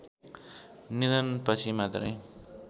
निधनपछि मात्रै